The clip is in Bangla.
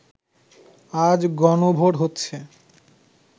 আজ গণভোট হচ্ছে